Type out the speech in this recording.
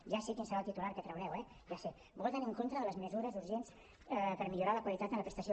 ja sé quin serà el titular que traureu eh ja el sé voten en contra de les mesures urgents per millorar la qualitat en la prestació